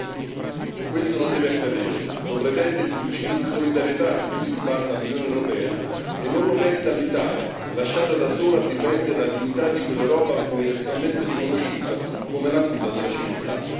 2018. Questo non deve accadere lo pretende il principio di solidarietà su cui si basa l'Unione europea e non lo merita l'Italia, lasciata da sola a difendere la dignità di quell'Europa universalmente riconosciuta come la culla della civiltà.